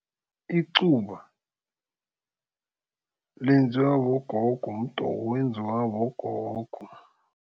Icuba lenziwa bogogo. Mdoko owenziwa bogogo.